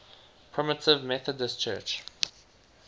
primitive methodist church